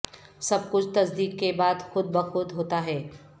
سب کچھ تصدیق کے بعد خود بخود ہوتا ہے